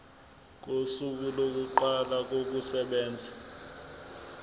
kosuku lokuqala kokusebenza